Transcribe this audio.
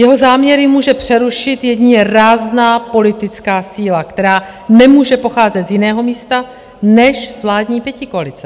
Jeho záměry může přerušit jedině rázná politická síla, která nemůže pocházet z jiného místa než z vládní pětikoalice.